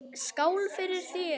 Skál fyrir þér.